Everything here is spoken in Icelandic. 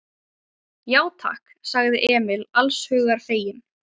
Já, takk, sagði Emil alls hugar feginn.